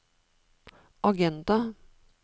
agenda